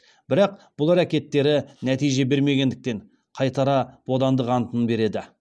бірақ бұл әрекеттері нәтиже бермегендіктен қайтара бодандық антын береді